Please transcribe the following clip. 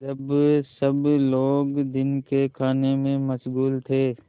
जब सब लोग दिन के खाने में मशगूल थे